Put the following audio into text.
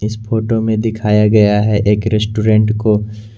इस फोटो में दिखाया गया है एक रेस्टोरेंट को--